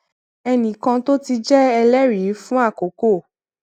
ẹnì kan tó ti jé ẹlérìí fún àkókò